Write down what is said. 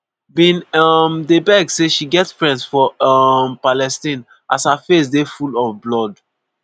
bin um dey beg say she get "friends for um palestine" as her face dey full of blood.